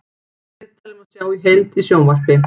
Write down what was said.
Viðtalið má sjá í heild í sjónvarp